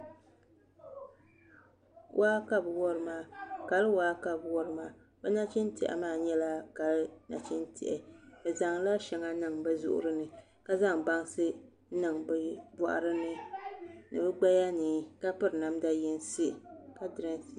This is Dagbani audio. Waa ka bi wori maa kali waa ka bi wori maa bi nachin tiɛhi maa nyɛla kali nachin tiɛhi bi zaŋla shɛŋa niŋ bi zuɣuri ni ka zaŋ bansi ni bi nuhuni ni bi gbaya ni ka piri namda yinsi